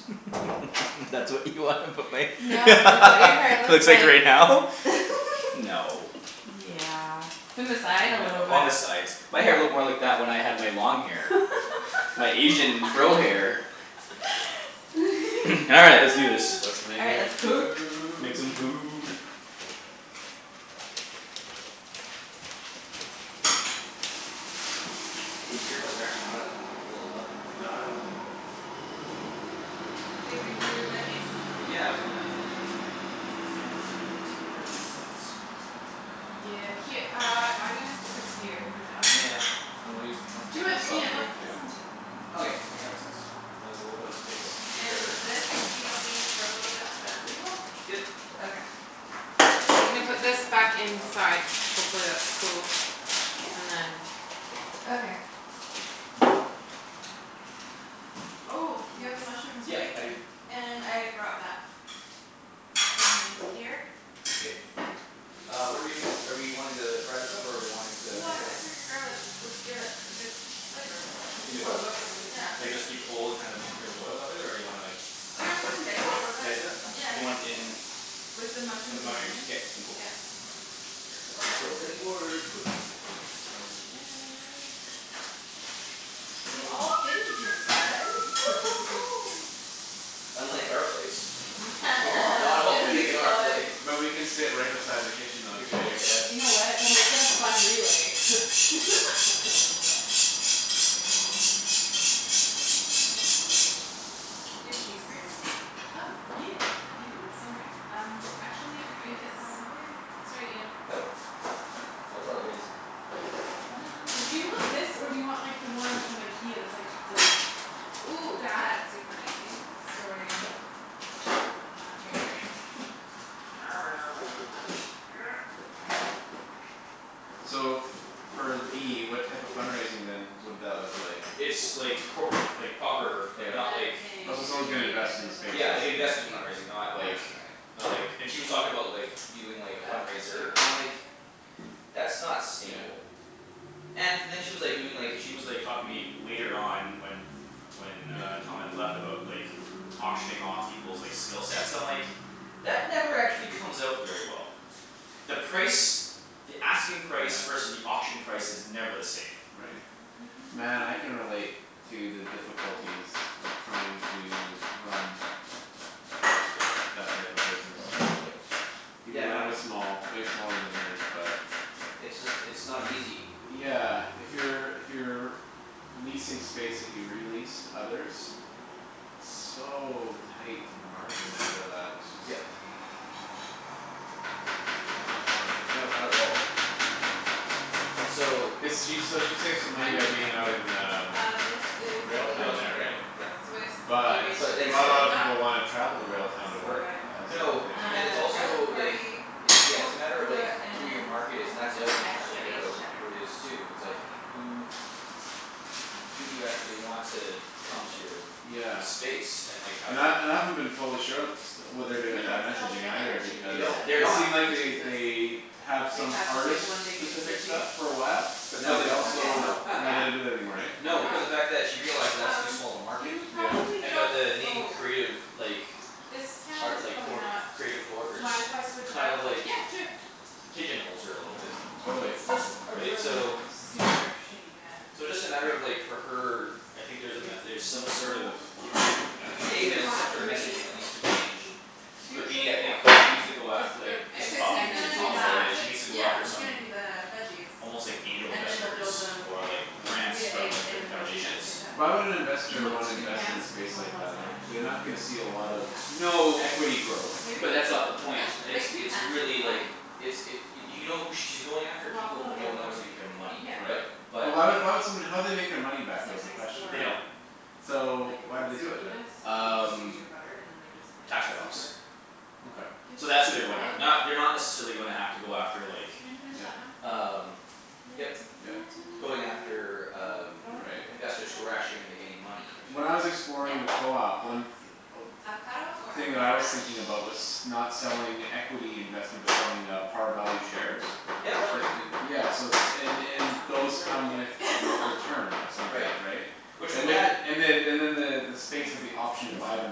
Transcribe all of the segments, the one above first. That's what you wanna put my No it's what your hair looks looks like like. right now? No. Yeah in the side a No, little bit. on the sides. My hair looked more What? like that when I had my long hair. My Asian fro hair. All right let's do this. Let's All right, make let's cook. Make some food. food. These earbuds are actually not as uncomfortable as I thought they were No gonna I don't be. Mm- think mm. they're comfortable at all. Babe, you wanna do th- veggies? Yeah, I was gonna These cameras are in terrible spots. Yeah, her- uh I'm gonna stick this here for now. Yeah. And leave I'll clear Do it this off Yeah. Ian, for you let's put this too. on the table. Okay, Yeah. that makes sense. And there's a little bit of space And here. this we don't need for a little bit I'll put it on Yep, table? yep. Okay. Ends are I'm gonna put this here, ready back to rock. inside. Hopefully that's cool Yeah. and then Okay. Oh you have the Oops. mushrooms Yeah, right? I do. And I brought that. And here. K. Uh what're we doing are we wanting to fry this up or are we wanting to make What it I figured garlic would give it a good flavor. In the oil? Oh oops, I'm using Yeah. Like this side. just keep it whole and just kind of flavor the oil that way or do you wanna like Oh yeah I was gonna dice it a little Dice it up? Do you want bit. it in With the With mushrooms the and mushrooms? onions, K, cool. yeah. Gonna steal a cutting board quick. And that We all So fit in here guys Unlike our place. We are Oh not all it's gonna fitting be in our place. fun. But we can sit right beside the kitchen though We too in totally your place. can. You know what? We'll make it a fun relay Do you have a cheese grater? Oh yeah I do Yeah. somewhere um I'm actually I gonna get think this it's outta the way sorry Ian. Nope. No apologize. Do you want this Inject. or do you want the one from Ikea that's like the Ooh, that? that's super easy. Sorry again. No. Uh it's right here So for D what type of fund raising then would that look like? It's like corporate fund- like proper like And not then like Yeah Oh so if someone's you Thank you. gonna need it invest in the there's a States, Yeah lid like basically. if investment you fundraising, not don't want like it Yeah. to dry out. Not like and Yeah. she was talking about like doing like a Uh fundraiser no and I'm like Um. "That's not sustainable" And then she was like doing like she was like talking to me later on when When uh Yeah. Tom had left about like Auctioning off peoples' like skill sets I'm like "That never actually comes out very well." The price the asking price versus Yeah. the auction price is never the same. Right. Man I can relate to the Ooh. difficulties of trying to run That type of business. Look at Yep. that. Even Yeah no. mine was small way smaller than hers but It's just it's not easy. Yeah, if you're if you're Leasing space that you re-lease to others. So tight on the margins for that. It's just Yep. Not fun. No, not at all. And so. Cuz she s- she saves What money kind by did you get? being out in um Uh this is Railtown the Railtown, there yep right? yep. Swiss cave But aged But gruyere it's not a that kinda we lotta got. people wanna Oh travel to Railtown to so work good. as the other No thing right? and it's Uh, garlic also like havarti, It's yeah it's a smoked matter of like gouda, who your and market is and that's the other thing tryin' to extra figure aged out cheddar. who it is too it's like Lovely. who who do you actually want to come to your Yeah. space and like how And do I you and I haven't been totally sure and st- what they're Do doing you with wanna I mix it all messaging together or either should we They because do it don't. They're separate? It not. seemed like The they they cheeses. have Like some have just like artist one big mix specific of cheese? stuff for a while. But I'm But now they they don't, down also no. with Okay. now they that. don't do that anymore eh? Why No not? because of fact that she realizes that's too Um small of a market. you probably Yeah. And but don't the name oh Creative like This pan is Art like probably not. creative coworkers? Mind if I switch it Kind out? of like Yeah sure. Pigeon holes her a little bit. Totally. It's just a Right? really So super shitty pan So just a matter of like for her I think there's a There's met- er some this sort of one. Do A you there's want some sort of three? messaging that needs to be changed. Two But should B I be think she needs okay to go at Just like with just just eggs cuz he's and talking to then gonna do Tom dual about that sandwich it it? she needs to go yeah after he's some gonna do the veggies. Almost like angel And then we'll investors build them or like we'll Yeah. do grants the from eggs like and the different grilled cheese at the foundations same time. Why would an Do you investor want wanna two invest in pans a to do space more than like one that sandwich? like they're not gonna see a Oh lot of yeah. No. equity growth. Maybe? But that's not the point, it's Like two it's pans should really be like fine. It's it I y- think. you know who she's going after Well I'll people put who out the other don't know one if what to you do need with their it. money Yeah. but Right. But. But why why would somebody how would they make their money Cuz back though they're is the nice question, for They right? don't. um So like why do they do it non-stickiness then? and then you can just use Um your butter and then they're just like Tax write offs Yeah. super Okay. So Good that's as who they're a going bug. after. Ooh. Not they're not necessarily gonna have to go after like Can you finish Yeah. that one? Um What can I yep. Yep. do to help? Going after um I don't wanna cut the Right. investors who avocado are actually yet. gonna make any money. Or When should I was I? Yeah. exploring the co-op, one th- Avocado or thing that I avocado was mash? thinking about was not selling equity investment but I mean selling uh par value shares Yep that It works writ- too. yeah so it's and that and sounds those really come good. with return of some Right. type, right? Which And with with it that and the Hmm. and then the the space is the Mm, let's option do to this one. buy them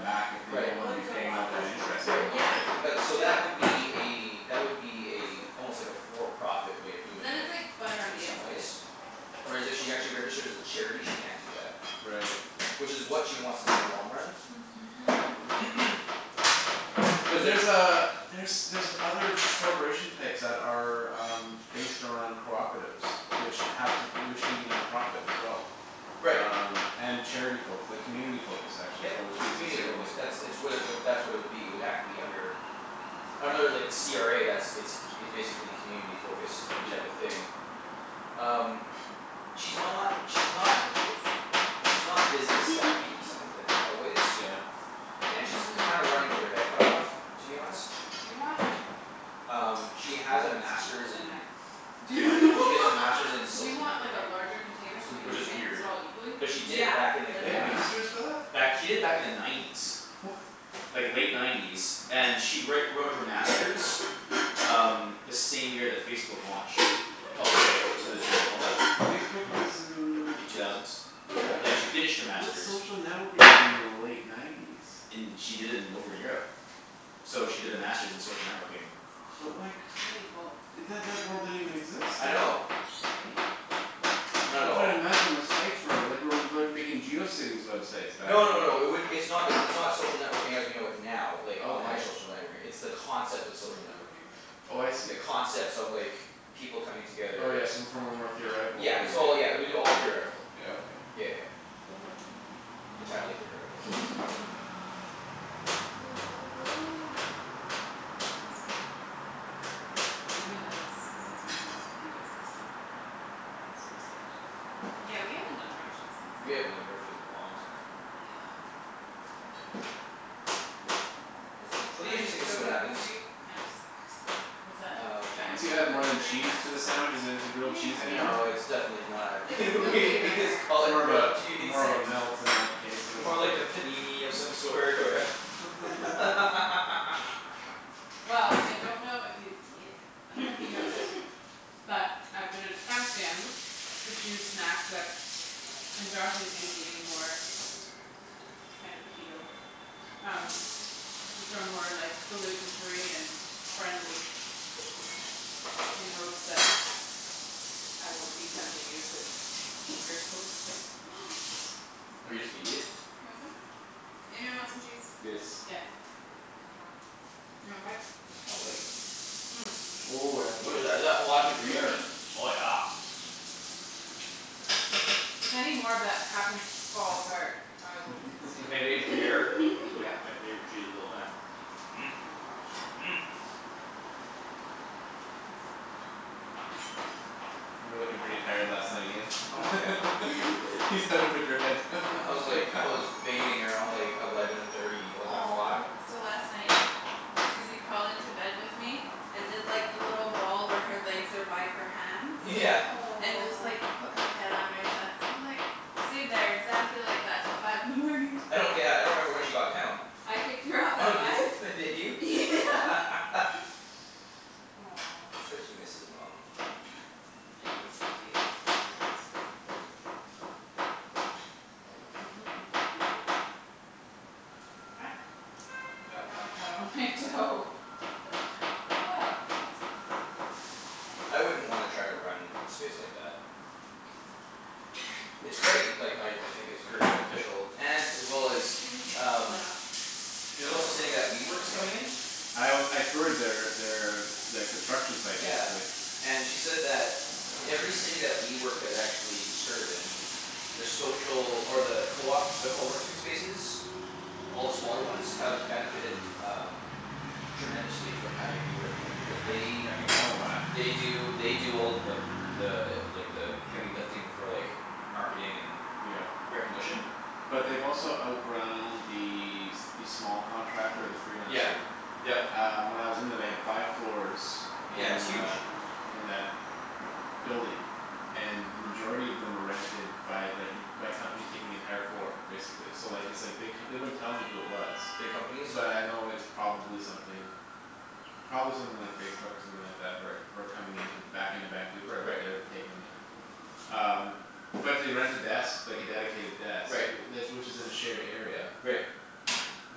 back if they Right. don't It wanna be would go paying on out that easier. interest Right anymore, Yeah. right? but Let's so do it. that would be a that would be a Let's do it. I like almost like that. a for profit way of But doing then it's it like butter on in the some inside. ways. Whereas if she actually registers as a charity she can't do that. Right. Which is what she wants to do in the long run. But Cuz there's there's uh there's other corporation types that are um Based on cooperatives which have to which can be non-profit as well. Right. Um and charity focus like community focused actually is Yep. what which gives you Community certain focus. That's it's what it would that's what it would be it would have to be under Under like the CRA that's it's c- it's basically community focused type of Yep. thing. um She's not she's not Hunk o' She's not cheese? business-savvy in some wa- in a lot of ways. Yeah. Goat And she's cheese kind of running with her head cut off to be honest. Do you wanna Um she I has a won't speak master's with a in knife. Do funny she has a master's in do you social want like a networking. larger container so we Which can is Mhm. mix weird. it all equally? But she did Yeah, it back in They like that'd the be have great. K. nineties. masters for that? Back she did it back in the nineties. Like late nineties and she write wrote her master's Um the same year that Facebook launched. Pub- like to the general public. Facebook was in The two thousands. Yeah. Yeah she finished her What's master's social networking within the late nineties? In she did it in over in Europe. So she did the master's in social networking. But like I need a bowl. That that word didn't even exist I then know. though. Sorry. Not at I'm all. tryin' to imagine what sites were like we're like making Geocities websites back No no then. no it would it's not like it's not social networking as we know it now like online Okay. social networking it's the concept of social networking. Hmm. Oh I The see. concepts of like people coming Oh together yeah, so from a more theoretical Yeah point it's of all yeah it view. would be all theoretical. Yeah, okay. Yeah yeah yeah. Entirely theoretical. That looks so good. Gasp We haven't done this since we did this with you guys last time. I'm so excited. Yeah, we haven't done grilled cheese since We then. haven't done a grilled cheese in a long time. Yum. This whole It'll be trying to interesting to go see what gluten happens. free kinda sucks. What's that? Um. Trying Once to you go add more gluten than free kinda cheese to a sucks. sandwich is it is it grilled cheese anymore? No it's Yeah. definitely not Like I feel we way we better just call but it More of grilled a cheese. more of a melt in that case or More something. like a panini of some sort or Yeah, Naan Well I 'scuse. don't know if you yeah I dunno if you know this But I've been attempting to choose snacks that and Josh is eating more Kind of Keto Um which are more like gluten free and friendly in hopes that I won't be tempting you to eat Oh you're just gonna eat it? You want some? Anyone want some cheese? Yes. Yeah. Mkay, you want a bite? I'll have a bite. Ooh, that's What good. is that? Oh that's a gruyere. Mhm. Oh yeah. If any more of that happens to fall apart, I will consume Pavage it for you. gruyere is like Yeah. my favorite cheese of all time. Oh my gosh. You were lookin' pretty tired last night Ian. Oh yeah. Just had to put your head. I was like I was fading around like eleven thirty eleven Aw. o'clock. Yeah. So last night Susie crawled into bed with me And did like the little ball where her legs are by her hands Yeah. And just like put her head on my chest and just like Stayed there exactly like that till five in the morning. I don't yeah I don't remember when she got down. I kicked her off Oh at did five. f- did you? Yeah Aw It's cuz she Susie. misses mum. It was cute. is very cute. Ah, I dropped avocado on my toe Well, that's fun. I wouldn't wanna try to run a space like that. It's great like how y- I think it's Yeah. very beneficial and as well as Can you just pull um that off? She's also saying that WeWork is coming in? I w- I toured their their their construction site Yeah basically. and she said that Every city that WeWork has actually started in The social or the coop the coworking spaces All the smaller ones have benefited um Tremendously from having WeWork in there because I can they I can tell why. They do they do all of the The like the heavy lifting for like marketing and Yep. recognition. But they've also outgrown the s- the small contractor the Yeah, freelancer. yep. Um when I was in there they had five floors Yeah, it's in huge. uh In that building And then majority of them were rented by like en- by companies taking the entire floor basically so like it's like big co- they wouldn't tell me who it was. Big companies. But I know it's probably something Probably something like Facebook or Ow. something like that who are who are coming into back into Vancouver but Right. they're taking uh Um but to rent a desk like a dedicated desk Right. wh- tha- which is in a shared area Right. Is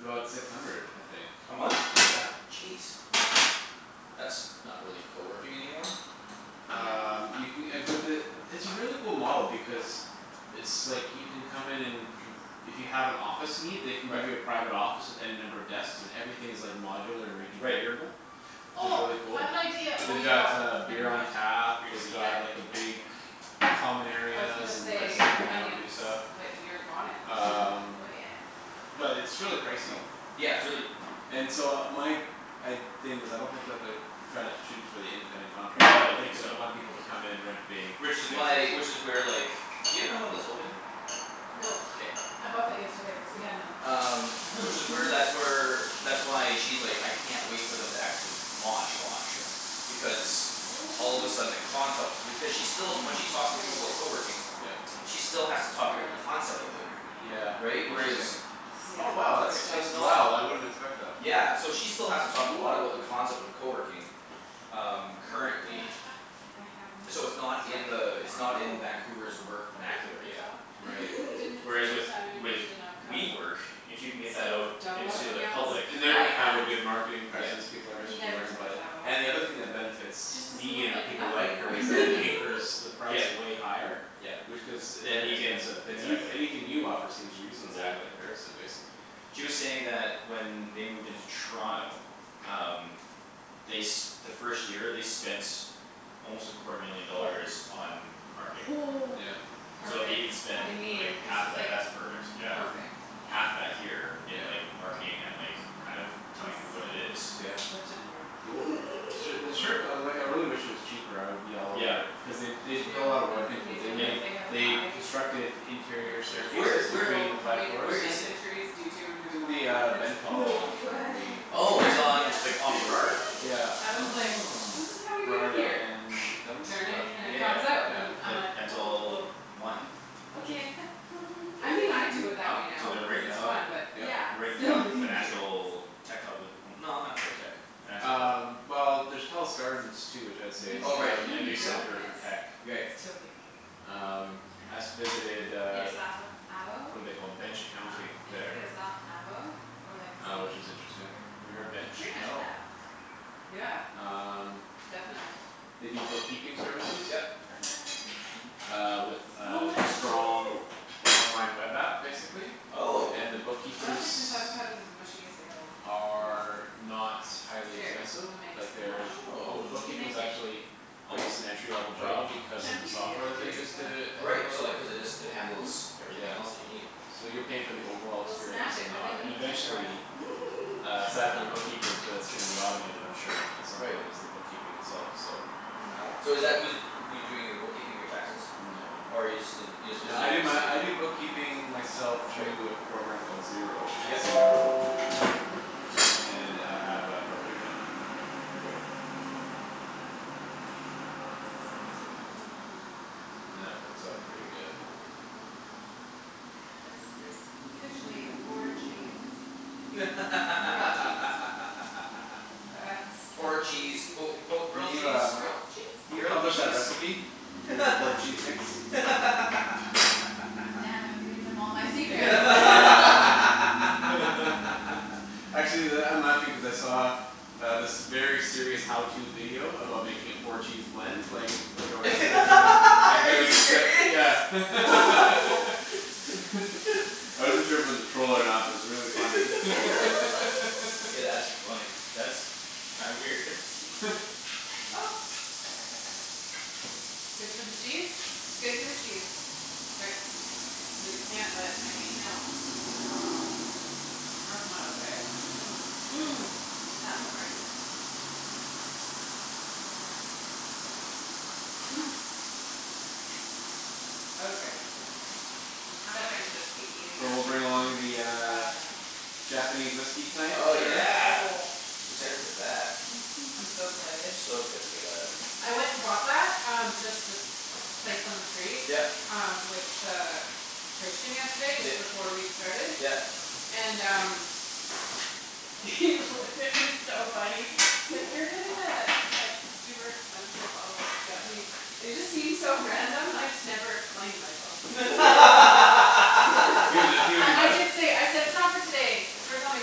about six hundred, I think. A month? Yeah. Jeez. That's not really coworking anymore. Um you No ca- uh but the it's a really cool model because It's like you can come in and conf- if you have an office need they can give you a Right. private office with any number of desks and everything is like modular and Right. reconfigurable. Which is Oh really I cool. have an idea oh They've you got got them, uh beer never on mind. tap, Grape they've Oops. seed got What? like a big Common I was gonna areas and places say to hang out and do onions stuff but you're on it Um Oh yeah. But it's really Oh pricey. yeah, it's really And so my g- I'd thing is I don't think that they're Tryin' to shoot for the independent No I don't contractor think they so. want people to come in and rent big Which is spaces. why which is where like do you have one that's open? No K. I bought that yesterday cuz we had none Um which is where that's where That's why she's like, "I can't wait for them to actually launch launch." Yeah. Because all of a sudden the concept Yeah. because she's still when she talks to people about coworking Yeah. She still has to talk about the Garlic concept of it. Yeah havarti. Right? interesting. Whereas Yeah, Oh wow it's where it's that's It's at. it's that's not wow I wouldn't expect that. Yeah, so she still has to talk a lot about the Okay Yeah. concept of coworking. Um Wonder currently. if Ah I have any. So it's not in Sorry. the it's not in Vancouver's work Sorry vernacular yet. computah Right. you didn't Whereas with predict so I would with need an avocado. WeWork, if you can get that So out double up Into on the the avos? public. Oh yeah, And they're gonna have a good marketing presence, Yeah. people are gonna start to never learn too about much it. avo. And the other thing that benefits Just doesn't D look and like people enough like her anymore is that anchors the price Yep. way higher. Yep. Which cuz Then you can inexpensive. Then Oops. you anything you offer seems reasonable in Exactly. comparison basically. She was saying that when they moved into Toronto Um they s- the first year they spent Almost a quarter million dollars on marketing. Yeah. So if they Perfect. even spend I like mean. It's half of just that like that's perfect yeah. perfect. Half that here Yes. in Yeah. like marketing and like kind of Mhm. I'm telling people what su- it is I'm Yeah. such a nerd. Cool. Su- the sure co- like I really wish it was cheaper I would be all Yeah. over it. Cuz they b- Do they you put a know lotta work in into New it. Yep. Zealand they have a They high constructed interior incidence Where of staircases where between people the five coming in i- where with floors. is knife it? injuries due to It's removing in the avocado um pits? No Bentall I believe the way Oh it's Apparently on yeah. like on Burrard. Yeah. Adam's like, Oh. "This is how we do it Burrard here and turn it, Dun- and it Yeah Dunsmuir? comes out", yeah and Yeah. I'm like like like "Oh Bentall well". One. Okay. I mean I do it that Oh way so now they're because right in it's the hub. fun but Yeah. Yep. They're right it's in the still kind of the dangerous financial tech hub no not quite tech. Financial. Um well there's Telus Gardens too which I would say Even is if you Oh right. now d- a even a if you new don't center for miss tech. Right. it's still dangerous Um I s- Yeah. visited You uh got avo What're they called, Bench Huh? Accounting If you get there. a soft avo or like a Uh which seed is interesting. Have you you're heard f- Bench? pretty much No. effed. Yeah. Um Definitely. They do bookkeeping services. Yep. Uh with So a much strong cheese. online web app basically. Oh. And the I don't think bookkeepers this avocado's as mushy as the other one. Oh well. Are not Who highly cares, expensive. we'll make it Like smash. they're all the Oh. We'll bookkeeping is make it. actually Quite Almost an entry level quite. job because of the Chunky's good software that they too, use so. to Oh right handle it so all. they cuz it just it Mhm. handles everything else that Yeah. you need. So you're paying for the overall We'll smash experience it and the with a aut- and meat tenderizer. eventually Uh I side for the dunno. bookkeepers but it's gonna be automated I'm sure at some Right. point is the bookkeeping itself so. Wow Mkay. so is that who's who's doing your bookkeeping your taxes? No. Or you just didn't you just No I visited do to my I do see? bookkeeping myself Right. through a program called Xero, x Yep. e r o. And I have a corporate account. Right. That works out pretty good. And this is officially a four cheese grilled cheese. That's Four cheese amazing. quote unquote Can grilled cheese? Grilled cheese? you Grilled publish a cheese? recipe? For your four cheese mix? God damn, I'm giving them all my secrets Actually that I'm laughing cuz I saw Um this very serious how to video about making a four cheese blend like like a restaurant or Are you serious? something I wasn't sure if it was a troll or not but it was really funny Hey that's funny. That's kinda weird. Good for the cheese? Good for the cheese. K. They can't let I mean No. That's not okay. Mm- mm, That havarti. That is yummy. Okay, acceptable. So we'll bring along the uh Nah. Japanese whiskey tonight for Oh sure. yeah. Excited for that. Mhm. I'm so excited. So excited for that. I went and bought that um just this place on the street Yep. um with uh Christian yesterday just Yep, before we started yep. and um He looked at me he's so funny. He's like, "You're getting a like super expensive bottle of Japanese". And it just seemed so random and I just never explained myself. I nearly I bought it? did say, I said, "It's not for today. It's for something